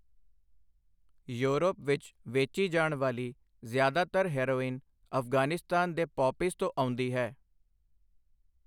Europe ਵਿੱਚ ਵੇਚੀ ਜਾਣ ਵਾਲੀ ਜ਼ਿਆਦਾਤਰ ਹੈਰੋਇਨ ਅਫਗਾਨਿਸਤਾਨ ਦੇ ਪੌਪੀਜ਼ ਤੋਂ ਆਉਂਦੀ ਹੈ।